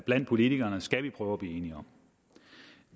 blandt politikerne skal vi prøve at blive enige om